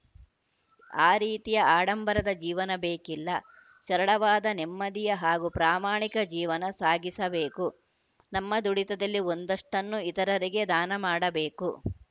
ಆ ರೀತಿಯ ಆಡಂಬರದ ಜೀವನ ಬೇಕಿಲ್ಲ ಸರಳವಾದ ನೆಮ್ಮದಿಯ ಹಾಗೂ ಪ್ರಾಮಾಣಿಕ ಜೀವನ ಸಾಗಿಸಬೇಕು ನಮ್ಮ ದುಡಿತದಲ್ಲಿ ಒಂದಷ್ಟನ್ನು ಇತರರಿಗೆ ದಾನ ಮಾಡಬೇಕು